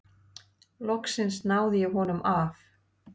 Loks náði ég honum af.